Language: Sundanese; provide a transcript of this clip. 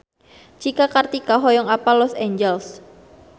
Cika Kartika hoyong apal Los Angeles